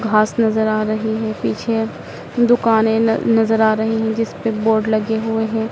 घास नजर आ रही है पीछे दुकानें न नजर आ रहीं जिस पे बोर्ड लगे हुए हैं।